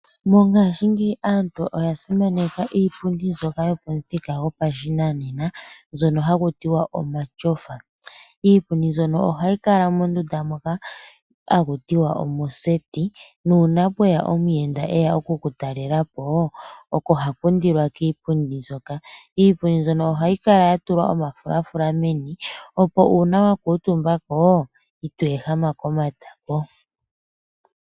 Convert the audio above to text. Mongashingeyi aantu oya simaneka iipundi mbyoka yopathika gopashinanena mbyono hakutiwa omatyofa , iipundi mbyono ohayi kala mondunda moka hakutiwa omo seti nuna pwewa omuyenda eya oku ku talelapo oko hakundilwa kiipundi mbyoka, iipundi mbyono ohayi kala yatulwa oma fulafula meni opo una wakutumbako itwehama komatako.